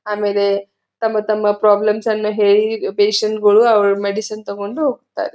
ಆಮೇಲೆ ತಮ್ಮ ತಮ್ಮ ಪ್ರಾಬ್ಲೆಮ್ಸ್ ಅನ್ನ ಹೇಳಿ ಪೇಷಂಟ್ ಗಳು ಅವರ ಮೆಡಿಸಿನ್ ತೊಕೊಂಡು ಹೋಗತ್ತಾರೆ.